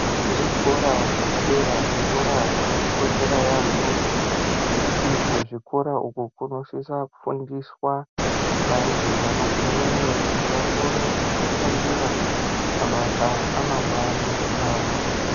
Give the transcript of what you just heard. Zvikora zvepadera zvikora zvakatikoshera yaambo ngekuti kuzvikora uko kunosisa kufundiswa vantu vanogumeyo kuti vakone kudzishandira mabasa amangwani avo.